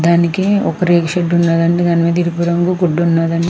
దానికి ఒక రేకు షెడ్ ఉన్నదండి దాని మీద ఎరుపు రంగు గుడ్డ ఉన్నదం --